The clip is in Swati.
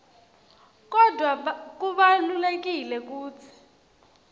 kodvwa kubalulekile kutsi